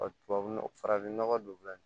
Ɔ tubabu nɔgɔ farafin nɔgɔ don